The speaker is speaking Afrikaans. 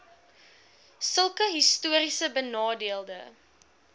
sulke histories benadeelde